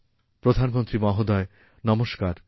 প্রধানমন্ত্রীমহোদয় নমস্কার